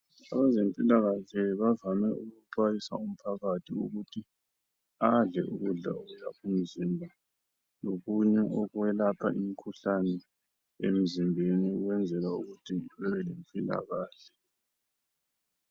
Abezempilakahle bavame ukuxwayisa umphakathi ukuthi adle ukudla okuyakh' umzimba lokunye okwelapha imkhuhlane emzimbeni ukwenzela ukuthi ube lempilakahle.